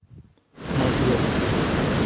мозгов